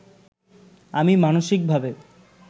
আমি মানসিকভাবে